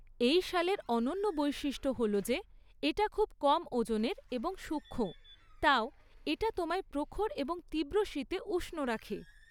এই শালের অনন্য বৈশিষ্ট্য হল যে এটা খুব কম ওজনের এবং সূক্ষ্ম, তাও এটা তোমায় প্রখর এবং তীব্র শীতে উষ্ণ রাখে।